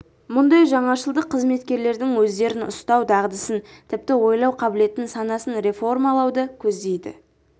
мұндай жаңашылдық қызметкерлердің өздерін ұстау дағдысын тіпті ойлау қабілетін санасын реформалауды көздейді